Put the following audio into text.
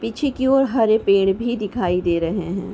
पीछे की ओर हरे पेड़ भी दिखाई दे रहे हैं।